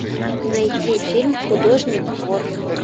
найти фильм художник вор